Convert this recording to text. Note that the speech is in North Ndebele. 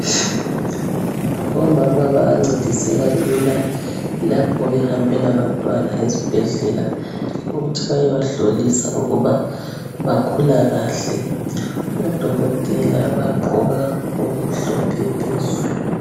Omama bayancediseka lula lapho behambe labantwana ezibhedlela ukuthi bayeba hlolisa ukuba bakhula kahle. Odokotela bagqoka okumhlophe phezulu.